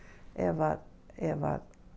ef ef